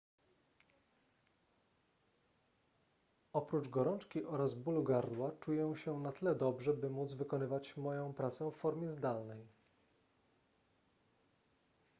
oprócz gorączki oraz bólu gardła czuję się na tyle dobrze by móc wykonywać moją pracę w formie zdalnej